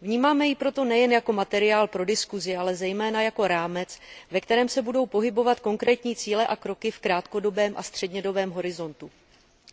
Vnímáme ji proto nejen jako materiál pro diskuzi, ale zejména jako rámec, ve kterém se budou pohybovat konkrétní cíle a kroky v krátkodobém a střednědobém horizontu.